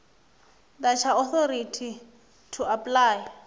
ḓa tsha authority to apply